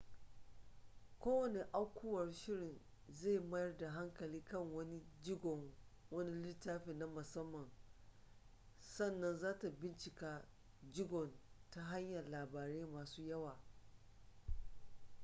kowane aukuwar shirin zai mayar da hankali kan wani jigon wani littafi na musamman sannan zata bincika jigon ta hanyan labarai masu yawa